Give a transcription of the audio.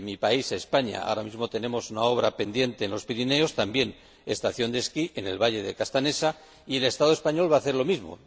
en mi país, España, ahora mismo tenemos una obra pendiente en los Pirineos, también una estación de esquí, en el valle de Castanesa, y el Estado español va a hacer lo mismo.